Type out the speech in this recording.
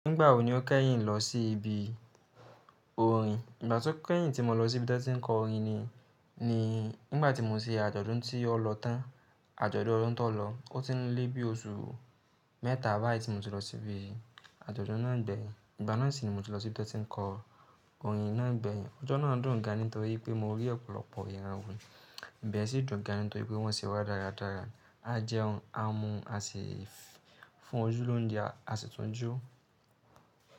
Nígbà wò ní o kẹ́yìn lọ sí ibi orin? Ìgbà tó kẹ́yìn tí mo lọ sí ibi tí wọ́n ti ń kọ orin ni, nígbà tí mo ṣe àjọ̀dún tí ó lọ tán, àjọ̀dún ọdún tó lọ. O ti n lébi oṣù mẹ́ta báyìí tí mo ti lọ síbi àjọ̀dún náà gbẹ̀yìn. Ìgbà náà sì ni mo ti lọ sí ibi tí wọ́n ti ń kọ orin náà gbẹ̀yìn. Ọjọ́ náà dùn gan an nítorí pé mo rí ọ̀pọ̀lọpọ̀ iràn wo. Ìbẹ́ẹ̀ sì dùn gan an nítorí pé wọ́n ṣẹ wá dáradára. A jẹun, a mu, a sì fún ojúlóun jẹ, a sì tún jó.